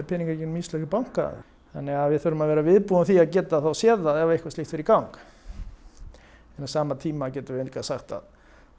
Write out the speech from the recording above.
peningar í gegnum íslenska banka við þurfum að vera viðbúin því að geta séð það ef eitthvað slíkt fer í gang en á sama tíma getum við sagt að